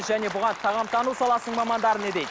және бұған тағамтану саласының мамандары не дейді